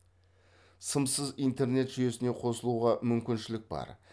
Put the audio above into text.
сымсыз интернет жүйесіне қосылуға мүмкіншілік бар